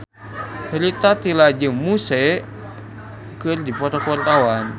Rita Tila jeung Muse keur dipoto ku wartawan